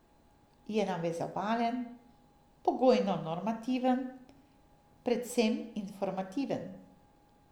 Je navezovalen, pogojno normativen, predvsem informativen.